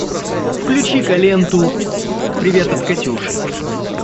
включи ка ленту привет от катюши